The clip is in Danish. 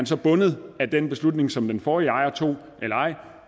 så bundet af den beslutning som den forrige ejer tog